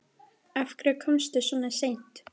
Af hverju komstu svona seint?